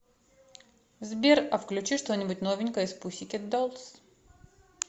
сбер а включи что нибудь новенькое из пусикет доллс